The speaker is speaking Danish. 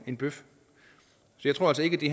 en bøf jeg tror altså ikke det